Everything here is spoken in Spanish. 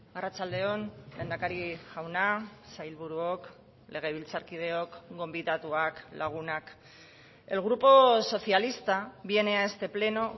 arratsalde on lehendakari jauna sailburuok legebiltzarkideok gonbidatuak lagunak el grupo socialista viene a este pleno